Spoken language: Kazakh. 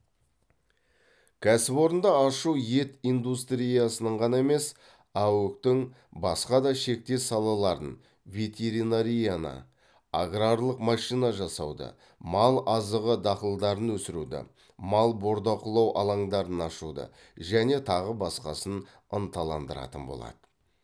кәсіпорынды ашу ет индустриясының ғана емес аөк тің басқа да шектес салаларын ветеринарияны аграрлық машина жасауды мал азығы дақылдарын өсіруді мал бордақылау алаңдарын ашуды және тағы басқасын ынталандыратын болады